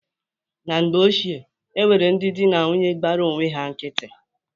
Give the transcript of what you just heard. Na mgbe ochie, o nwere ndị dị na nwunye gbara onwe ha nkịtị.